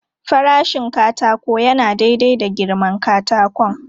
Farashin katako yana daidai da girman katakon.